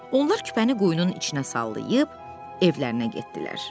Onlar küpəni quyunun içinə sallayıb, evlərinə getdilər.